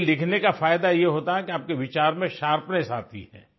देखिये लिखने का फायदा ये होता है कि आपके विचार में शार्पनेस आती है